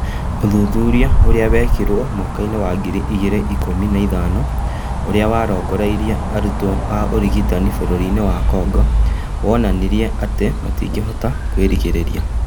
Ũthuthuria ũrĩa wekĩrwo mwakainĩ wa ngiri igĩrĩ na ikũmi na ithano ũrĩa warongoreirie arutwo a ũrigitani bũrũri-inĩwa Kongo wonanĩrie atĩ matingĩhota kwĩrigĩrĩria